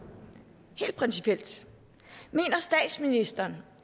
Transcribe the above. helt principielt mener statsministeren